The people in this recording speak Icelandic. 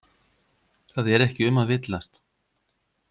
Það er ekki um að villast.